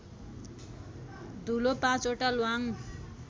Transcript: धूलो ५ वटा ल्वाङ